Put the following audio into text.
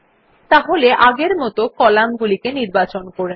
তাহলে আগের মত কলাম গুলি নির্বাচন করে নিন